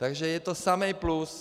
Takže je to samý plus.